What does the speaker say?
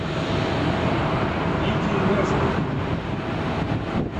лидии лазаревой